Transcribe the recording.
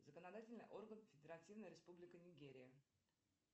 законодательный орган федеративная республика нигерия